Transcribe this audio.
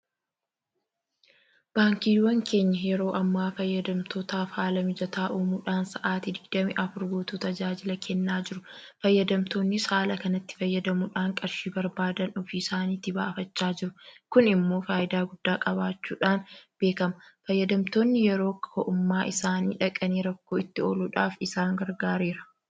Baankiiwwan keenya yeroo ammaa fayyadamtootaaf haala mijataa uumuudhaan sa'aatii Digdami Afur guutuu tajaajila kennaa jiru. Fayyadamtoonnis haala kanatti fayyadamuudhaan qarshii barbaadan ofii isaaniitii baafachaa jiru. Kun immoo faayidaa guddaa qabaachuudhaan beekama. Fayyadamtoonni yeroo ko'ummaa isaanii dhaqanii rakkoo itti ooluudhaaf isaan gargaareera.